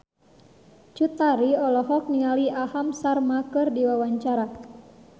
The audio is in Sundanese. Cut Tari olohok ningali Aham Sharma keur diwawancara